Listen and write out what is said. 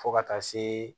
Fo ka taa se